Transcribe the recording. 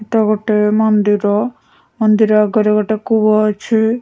ଏଇଟା ଗୋଟେ ମନ୍ଦିର ମନ୍ଦିର ଆଗରେ ଗୋଟେ କୂଅ ଅଛି।